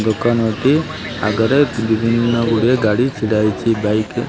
ଦୋକାନଟି ଆଗରେ ବିଭିନ୍ନ ଗୁଡିଏ ଗାଡି ଛିଡା ହେଇଚି ବାଇକ --